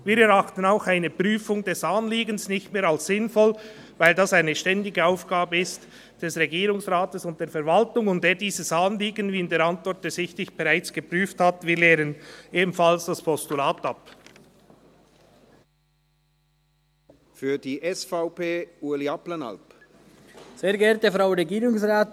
Wir erachten auch eine Prüfung des Anliegens nicht mehr als sinnvoll, weil das eine ständige Aufgabe des Regierungsrates und der Verwaltung ist und er dieses Anliegen bereits geprüft hat, wie aus der Antwort ersichtlich ist.